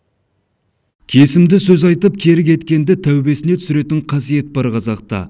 кесімді сөз айтып кері кеткенді тәубесіне түсіретін қасиет бар қазақта